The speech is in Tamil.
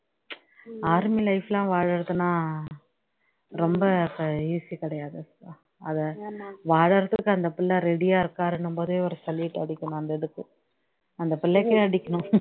army life லாம் வாழுறதுலாம் ரொம்ப இப்ப easy கிடையாது அத வாழுறதுக்கு அந்த பிள்ள ready ஆ இருக்காருன்னும் போதே ஒரு salute அடிக்கணும் அந்த இதுக்கு அந்த பிள்ளைக்கே அடிக்கணும்